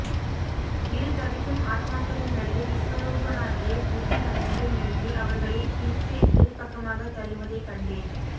இரு தவிக்கும் ஆத்மாக்களின் நடுவே விஸ்வரூபனாகிய விதி வந்து நின்று அவர்களைப் பிய்த்து இருபக்கமாக தள்ளுவதைக் கண்டேன்